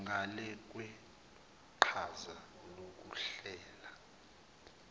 ngale kweqhaza lokuhlela